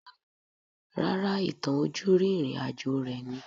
Rárá, ìtàn ojúrí ìrìn àjò rẹ̀ ni